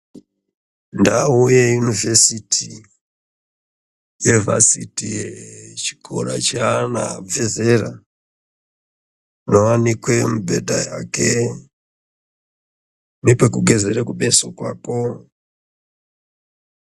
Ndau yeyunivhesiti nevhasiti yechikora cheana abve zera munowanikwe mibhedha yake nepekugezere kumeso kwako.